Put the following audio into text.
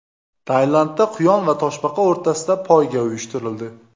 Tailandda quyon va toshbaqa o‘rtasida poyga uyushtirildi.